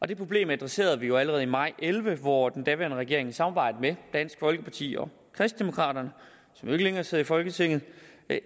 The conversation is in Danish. det problem adresserede vi jo allerede i maj to og elleve hvor den daværende regering i samarbejde med dansk folkeparti og kristendemokraterne som jo ikke længere sidder i folketinget